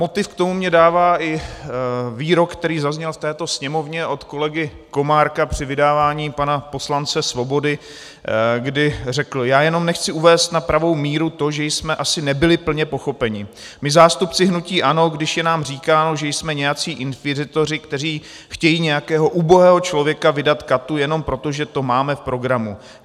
Motiv k tomu mi dává i výrok, který zazněl v této Sněmovně od kolegy Komárka při vydávání pana poslance Svobody, kdy řekl: "Já jenom chci uvést na pravou míru to, že jsme asi nebyli plně pochopeni, my, zástupci hnutí ANO, když je nám říkáno, že jsme nějací inkvizitoři, kteří chtějí nějakého ubohého člověka vydat katu jenom proto, že to máme v programu.